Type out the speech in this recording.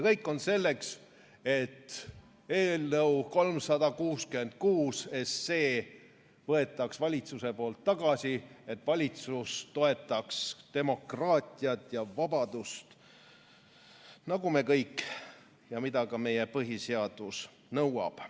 Kõik on selleks, et eelnõu 366 võetaks valitsuse poolt tagasi, et valitsus toetaks demokraatiat ja vabadust nagu me kõik, mida ka meie põhiseadus nõuab.